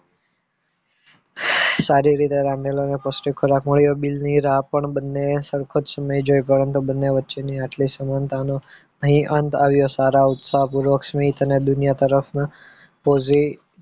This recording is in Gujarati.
સારી રીતે રમેલો અને કશુંક ખોરાક મળ્યો bill ની રાહ પણ બંને સરખો જ સમય જે પરંતુ બંને વચ્ચે ની આટલી સમાનતા નો અહીં અંત આવ્યો સારા ઉત્સાહપૂર્વક સ્મિત અને દુનિયા તરફ ના positive